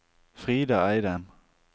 Frida Eidem